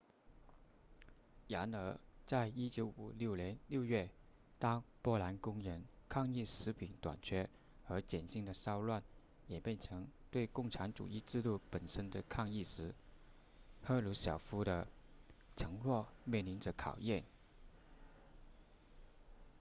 然而在1956年6月当波兰工人抗议食品短缺和减薪的骚乱演变成对共产主义制度本身的抗议时赫鲁晓夫的承诺面临着考验